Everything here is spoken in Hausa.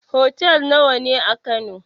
Hotel nawa ne a kano?